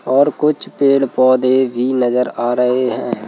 और कुछ पेड़-पौधे भी नजर आ रहे हैं।